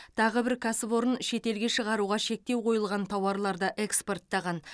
тағы бір кәсіпорын шетелге шығаруға шектеу қойылған тауарларды экспорттаған